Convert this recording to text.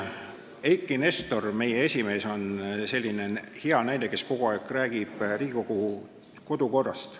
Eiki Nestor, meie esimees, on selline hea näide, kes kogu aeg räägib Riigikogu kodukorrast.